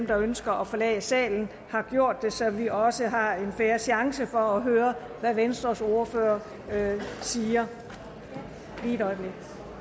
der ønsker at forlade salen har gjort det så vi også har en fair chance for at høre hvad venstres ordfører siger lige et øjeblik